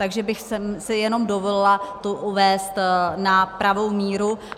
Takže bych si jenom dovolila to uvést na pravou míru.